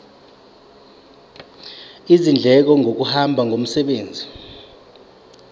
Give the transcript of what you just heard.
izindleko zokuhamba ngomsebenzi